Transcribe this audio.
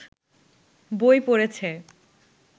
বই পড়েছে